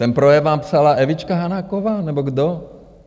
Ten projekt vám psala Evička Hanáková, nebo kdo?